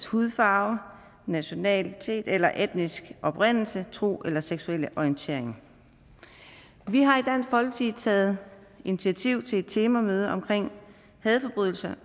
hudfarve nationale eller etniske oprindelse tro eller seksuelle orientering vi har i dansk folkeparti taget initiativ til et temamøde om hadforbrydelser